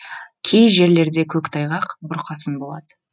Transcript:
кей жерлерде көктайғақ бұрқасын болады